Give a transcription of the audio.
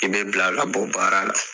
I bɛ bila ka bɔ baara la.